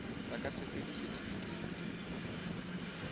ba ka se fe disetifikeiti